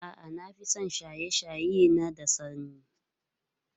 A'a, na fi son shaye-shaye na da sanyi.